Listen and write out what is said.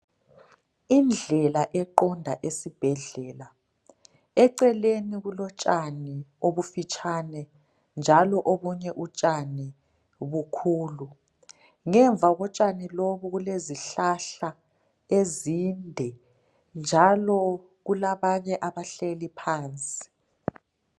Indlela eqonda esibhedlela , eceleni kulotshani obufitshane njalo obunye utshani bukhulu ngemva kotshani lobu kukezihlahla ezinde njalo kulabanye abahleli phansi